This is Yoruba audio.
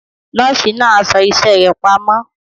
Nọ́ọ̀sì náà aṣọ iṣẹ́ rẹ̀ pamọ́.